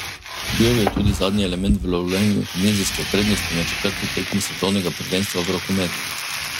Bil je tudi zadnji element v lovljenju tunizijske prednosti na četrti tekmi svetovnega prvenstva v rokometu.